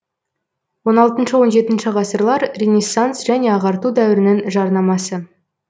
он алтыншы он жетінші ғасырлар ренессанс және ағарту дәуірінің жарнамасы